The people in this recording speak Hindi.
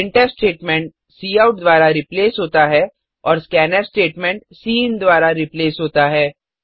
प्रिंटफ स्टेटमेंट काउट द्वारा रिप्लेस होता है और स्कैन्फ स्टेटमेंट सिन द्वारा रिप्लेस होता है